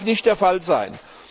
Das darf nicht der Fall sein.